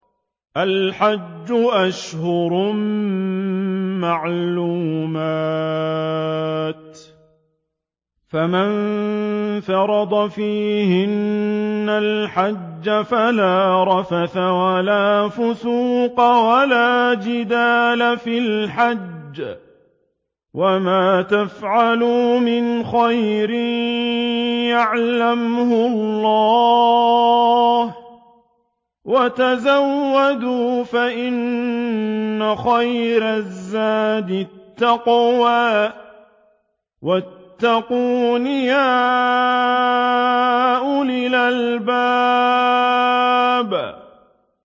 الْحَجُّ أَشْهُرٌ مَّعْلُومَاتٌ ۚ فَمَن فَرَضَ فِيهِنَّ الْحَجَّ فَلَا رَفَثَ وَلَا فُسُوقَ وَلَا جِدَالَ فِي الْحَجِّ ۗ وَمَا تَفْعَلُوا مِنْ خَيْرٍ يَعْلَمْهُ اللَّهُ ۗ وَتَزَوَّدُوا فَإِنَّ خَيْرَ الزَّادِ التَّقْوَىٰ ۚ وَاتَّقُونِ يَا أُولِي الْأَلْبَابِ